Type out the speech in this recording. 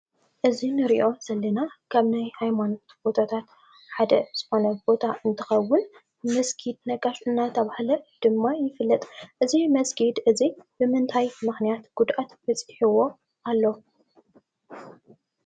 እዚ እንሪኦ ዘለና ካብ ሃይማኖት ቦታታት ሓደ ዝኮነ ቦታ እንትከውን መስጊድ ነጋሽ እናተባሃለ ድማ ይፍለጥ፡፡ እዚ መስጊድ እዚ ብምንታይ ምክንያት ጉድኣት በፅሕዎ ኣሎ?